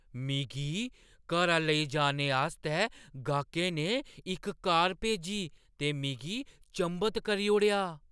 मिगी घरा लेई जाने आस्तै गाह्‌कै ने इक कार भेजी ते मिगी चंभत करी ओड़ेआ।